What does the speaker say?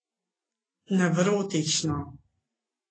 Nevrotično.